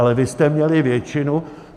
Ale vy jste měli většinu.